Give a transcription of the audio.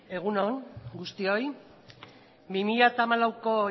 egun on guztioi isiltasuna mesedez benetan bi mila hamalauko